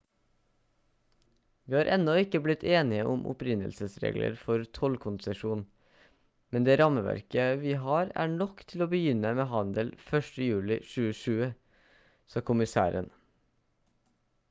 «vi har ennå ikke blitt enige om opprinnelsesregler og tollkonsesjon men det rammeverket vi har er nok til å begynne med handel 1. juli 2020» sa kommissæren